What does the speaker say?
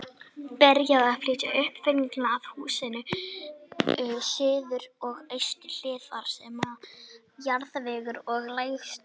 Byrjað að flytja uppfyllingu að húsinu, suður og austur hlið, þar sem jarðvegur er lægstur.